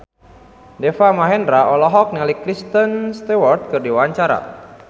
Deva Mahendra olohok ningali Kristen Stewart keur diwawancara